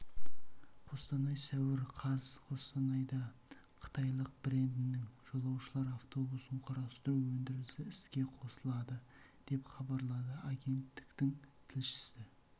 қостанай сәуір қаз қостанайда қытайлық брендінің жолаушылар автобусын құрастыру өндірісі іске қосылады деп хабарлады агенттіктің тілшісі